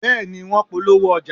Bẹ́ẹ̀ ni, wọ́n polówó ọjà